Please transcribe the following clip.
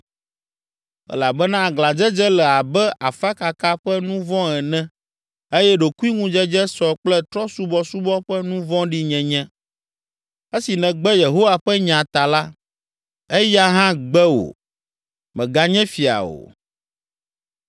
Elabena aglãdzedze le abe afakaka ƒe nu vɔ̃ ene eye ɖokuiŋudzedze sɔ kple trɔ̃subɔsubɔ ƒe nu vɔ̃ɖi nyenye. Esi nègbe Yehowa ƒe nya ta la, eya hã gbe wò; mèganye fia o.”